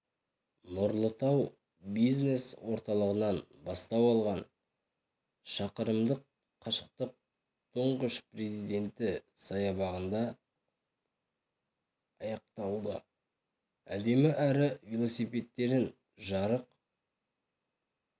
нұрлы тау бизнес орталығынан бастау алған шақырымдық қашықтық тұңғыш президенті саябағында аяқталды әдемі әрі велосипедтерін жарық